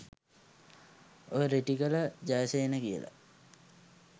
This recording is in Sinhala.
ඔය රිටිගල ජයසේන කියල